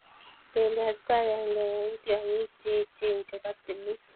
Beliot ko agenge eng tyong'iik che echen chebo timin.